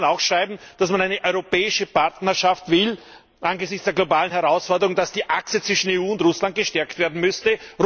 Würde man dann auch schreiben, dass man eine europäische Partnerschaft will angesichts der globalen Herausforderung, dass die Achse zwischen EU und Russland gestärkt werden müsse?